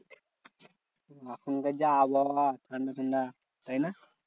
এখনকার যা আবহাওয়া ঠান্ডা ঠান্ডা, তাইনা?